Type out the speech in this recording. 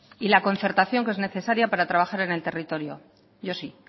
y la concertación que es necesaria para trabajar en el territorio yo sí